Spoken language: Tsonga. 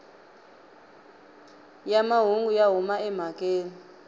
ya mahungu ya huma emhakeni